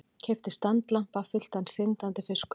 Keypti standlampa fylltan syndandi fiskum.